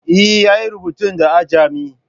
Eh, ya yi rubutun da ajami